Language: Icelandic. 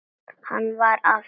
Hann var af engu fólki.